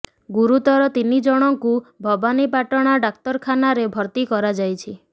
ଗୁରୁତର ତିନି ଜଣଙ୍କୁ ଭବାନୀପାଟଣା ଡାକ୍ତରଖାନା ରେ ଭର୍ତ୍ତି କରାଯାଇଛି